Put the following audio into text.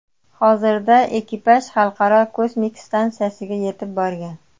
Hozirda ekipaj Xalqaro kosmik stansiyaga yetib borgan.